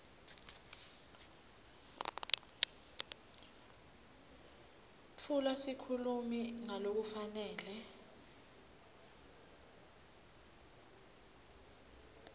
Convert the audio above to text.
tfula sikhulumi ngalokufanele